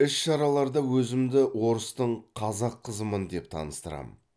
іс шараларда өзімді орыстың қазақ қызымын деп таныстырамын